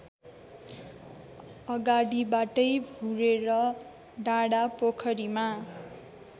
अगाडिबाटै भुरेर डाँडापोखरीमा